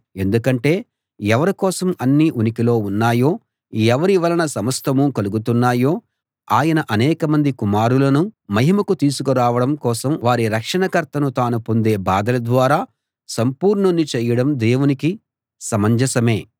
ఎందుకంటే ఎవరి కోసం అన్నీ ఉనికిలో ఉన్నాయో ఎవరి వలన సమస్తమూ కలుగుతున్నాయో ఆయన అనేకమంది కుమారులను మహిమకు తీసుకురావడం కోసం వారి రక్షణ కర్తను తాను పొందే బాధల ద్వారా సంపూర్ణుణ్ణి చేయడం దేవునికి సమంజసమే